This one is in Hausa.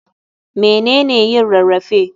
Mene ne yin rarrafe?